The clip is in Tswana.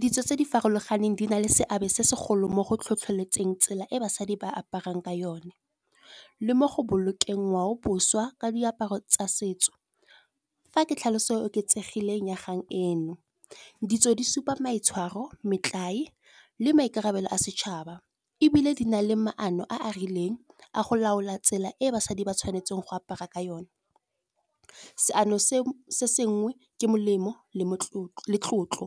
Ditso tse di farologaneng di na le seabe se segolo mo go tlhotlheletseng tsela e basadi ba aparang ka yone. Le mo go bolokeng ngwao boswa ka diaparo tsa setso, fa ke tlhaloso e oketsegileng ya kgang eno. Ditso di supa maitshwaro metlae le maikarabelo a setšhaba, ebile di na le maano a a rileng a go laola tsela e basadi ba tshwanetse go apara ka yone. Seano se sengwe ke molemo le tlotlo,